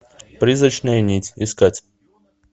призрачная нить искать